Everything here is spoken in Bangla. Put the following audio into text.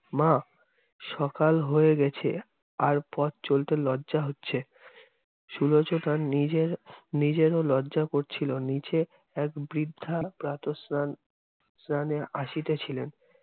মা, সকাল হয়ে গেছে আর পথ চলতে লজ্জা হচ্ছে। সুলোচনার নিজে~ নিজেরও লজ্জা করছিলো। নীচে এক বৃদ্ধা প্রাতঃস্নান~ স্নানে আসিতেছিলেন